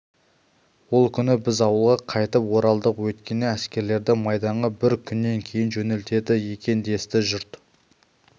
ол күні біз ауылға қайтып оралдық өйткені әскерлерді майданға бір күннен кейін жөнелтеді екен десті жұрт